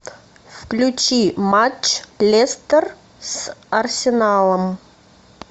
включи матч лестер с арсеналом